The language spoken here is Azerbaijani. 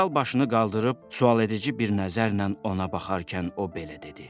General başını qaldırıb sualedici bir nəzərlə ona baxarkən o belə dedi.